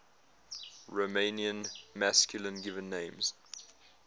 romanian masculine given names